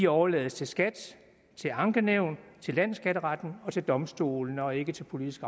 overlades til skat til ankenævn til landsskatteretten og til domstolene og ikke til politisk